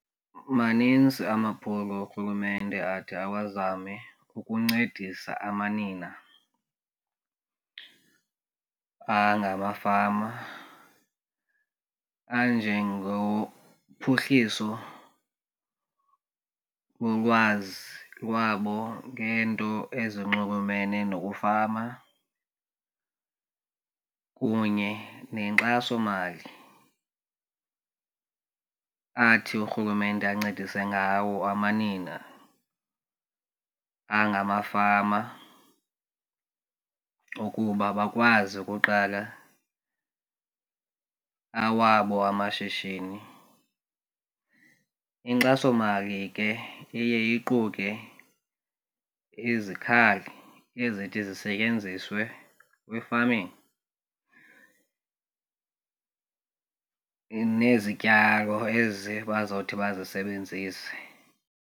Maninzi amaphulo urhulumente athi awazame ukuncedisa amanina angamafama anjengophuhliso bolwazi lwabo ngeento ezinxulumene nokufama kunye nenkxasomali athi urhulumente ancedise ngawo amanina angamafama ukuba bakwazi ukuqala awabo amashishini. Inkxasomali ke iye iquke izikhali ezithi zisetyenziswe kwi-farming nezityalo ezi bazothi bazisebenzise.